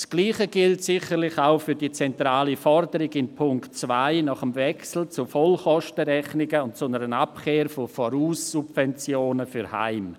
Das Gleiche gilt sicherlich auch für die zentrale Forderung in Punkt 2 nach einem Wechsel zu einer Vollkostenrechnung und einer Abkehr von Voraussubventionen für Heime.